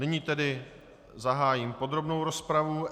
Nyní tedy zahájím podrobnou rozpravu.